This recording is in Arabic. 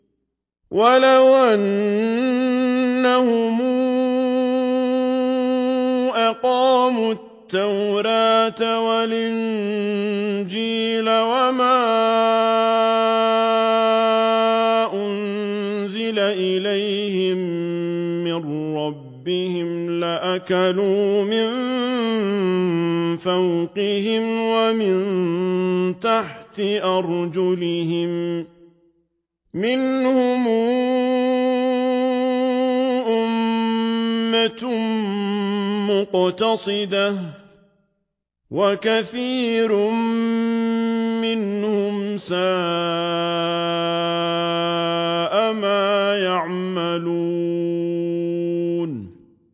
وَلَوْ أَنَّهُمْ أَقَامُوا التَّوْرَاةَ وَالْإِنجِيلَ وَمَا أُنزِلَ إِلَيْهِم مِّن رَّبِّهِمْ لَأَكَلُوا مِن فَوْقِهِمْ وَمِن تَحْتِ أَرْجُلِهِم ۚ مِّنْهُمْ أُمَّةٌ مُّقْتَصِدَةٌ ۖ وَكَثِيرٌ مِّنْهُمْ سَاءَ مَا يَعْمَلُونَ